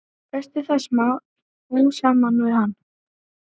Festist það smám saman við hann.